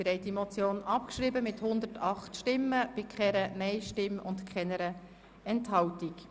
Sie haben die Motion abgeschrieben mit 108 Ja-Stimmen ohne Gegenstimmen und Enthaltungen.